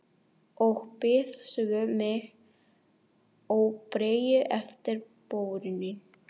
Og bíð svo með óþreyju eftir vorinu.